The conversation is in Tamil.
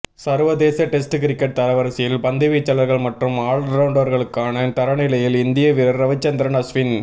சர்வதேச டெஸ்ட் கிரிக்கெட் தரவரிசையில் பந்துவீச்சாளர்கள் மற்றும் ஆல்ரவுண்டர்களுக்கான தரநிலையில் இந்திய வீரர் ரவிச்சந்திரன் அஸ்வின்